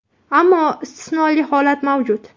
Ammo istisnoli holat mavjud.